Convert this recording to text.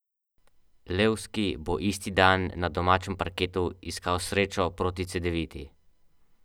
V delavnici se nas je zbralo štirideset ali petdeset in čakali smo na novo pridobitev.